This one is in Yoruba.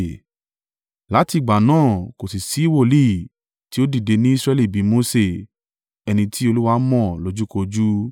Láti ìgbà náà kò sì sí wòlíì tí ó dìde ní Israẹli bí i Mose, ẹni tí Olúwa mọ̀ lójúkojú,